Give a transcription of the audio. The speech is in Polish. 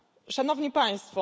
Szanowni Państwo!